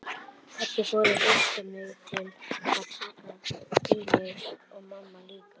Pabbi fór að hrista mig til og taka í mig og mamma líka.